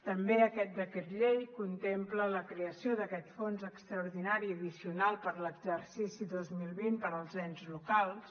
també aquest decret llei contempla la creació d’aquest fons extraordinari addicional per a l’exercici dos mil vint per als ens locals